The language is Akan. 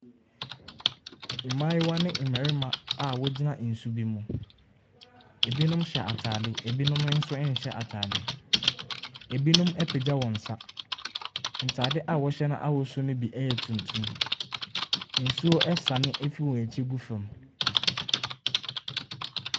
Mmayewa ne mmarima a wogyina nsu bi ho. Ebinom hyɛ ataade. Ebinom nso nhyɛ ataade. Ebinom apagyɛ wɔn nsa. Ntaade a wɔhyɛ no bi ahosuo yɛ tuntum. Nsuo sane fi wɔn akyi gu fam.